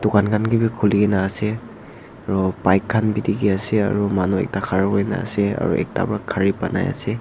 dukan khan kae bi khuli na ase aro bike khan bi dikhiase aro manu ekta khara kurina ase aro ekta pra gari banaiase.